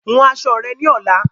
Hun aṣọ rẹ ni ọ̀la!